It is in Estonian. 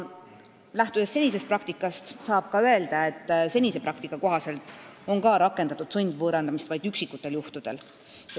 Lähtudes senisest praktikast, saab öelda, et ka seni on sundvõõrandamist kasutatud vaid üksikutel juhtudel.